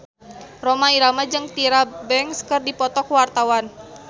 Rhoma Irama jeung Tyra Banks keur dipoto ku wartawan